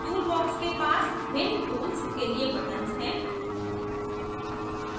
toolbox के पास भिन्न tools के लिए buttons हैं